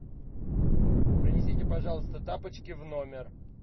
принесите пожалуйста тапочки в номер